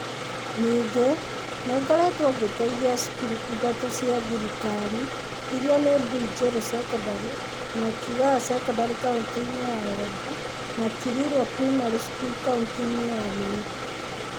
Ningĩ, nĩ ngoretwo ngĩteithia cukuru ithatũ cia thirikari, iria nĩ Mbuinjeru secondary na Kigaa secondary kaunti-inĩ ya Embu, na Kirirwa primary school kaunti-inĩ ya Meru.